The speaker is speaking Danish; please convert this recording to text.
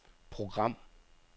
program